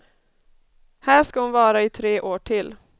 Här ska hon vara i tre år till.